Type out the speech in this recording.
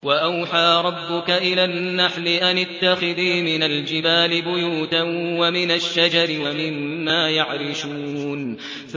وَأَوْحَىٰ رَبُّكَ إِلَى النَّحْلِ أَنِ اتَّخِذِي مِنَ الْجِبَالِ بُيُوتًا وَمِنَ الشَّجَرِ وَمِمَّا يَعْرِشُونَ